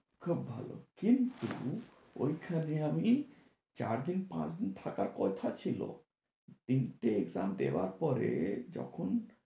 খুব ভালো। কিন্তু ঐখানে আমি চারদিন-পাঁচদিন থাকার কথা ছিলো। তিনটে exam দেওয়ার পরে যখন